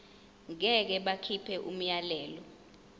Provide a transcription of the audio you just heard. ngeke bakhipha umyalelo